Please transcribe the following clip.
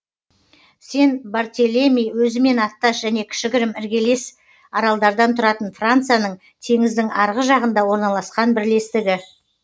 сен бартелеми өзімен аттас және кішігірім іргелес аралдардан тұратын францияның теңіздің арғы жағында орналасқан бірлестігі